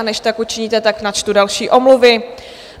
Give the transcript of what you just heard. A než tak učiníte, tak načtu další omluvy.